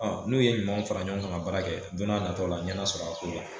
N'u ye ɲumanw fara ɲɔgɔn kan ka baara kɛ don n'a nataw la ɲɛ n'a sɔrɔ a ko la